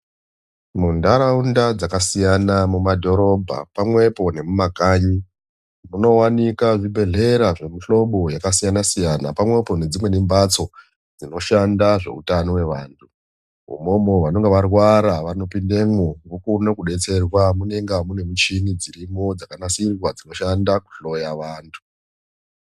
Munharaunda dzakasiyana mumadhorobha pamwepo nemumakanyi munowanikwa zvibhehlera zvemihlobo yakasiyanasiyana pamwepo nedzimweni mbatso dzinoshanda zveutano hweantu umomo vanonga varwara vanopindemwo vokone kudetserwa munenge mune michini dzirimo dzakanasirwa dzinoshanda kuhloya vantu.